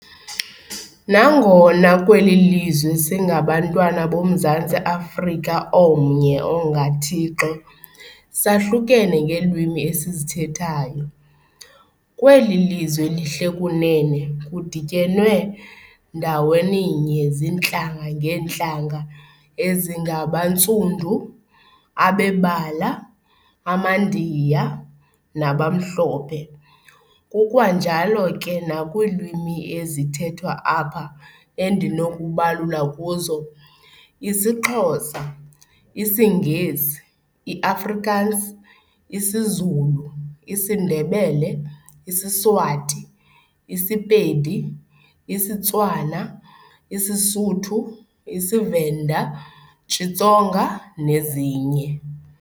Nangona kweli lizwe singabantwana boMzantsi Africa omnye onga thixo, sahlukene ngeelwimi esizithethayo, kweli lizwe lihle kunene kudityenwe ndawenitye zintlanga ngeentlanga ezingabaNtsundu, abebala, amandiya, nabamhlophe, kukwanjalo ke nakwiilwimi ezithethwa apha endinokubalula kuzo isiXhosa, isiNgesi, iAfrikans, isiZulu, isiNdebele, isiSwati, isiPedi, isiTswana, iSesothu, isiVenda, Xitsonga nezinye.